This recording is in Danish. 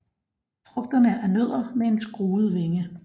Frugterne er nødder med en skruet vinge